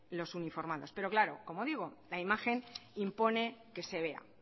los uniformados pero claro como digo la imagen impone que se vea